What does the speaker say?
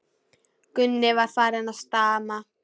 Gunni var farinn að stama.